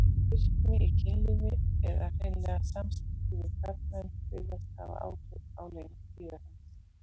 Virkni í kynlífi, eða hreinlega samskipti við karlmenn, virðast hafa áhrif á lengd tíðahrings.